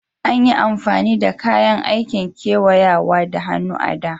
Anyi amfani da kayan aikin kewayawa da hannu a da.